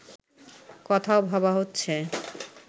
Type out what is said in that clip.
কথাও ভাবা হচ্ছে